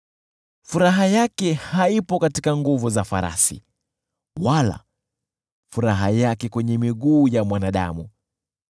Furaha yake haipo katika nguvu za farasi, wala furaha yake kwenye miguu ya mwanadamu.